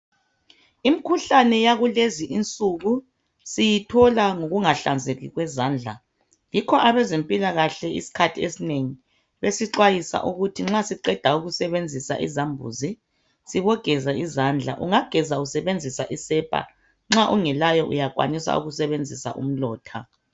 Imikhuhlane yakulezi insuku siyithola ngokunga hlanzeki kwezandla yikho abezempilakahle isikhathi esinengi besixwayisa ukuthi nxa siqeda ukusebenzisa izambuzi sibogeza izandla. Ungageza usebenzisa isepa, nxa ungelayo uyasebenzisa umlotha.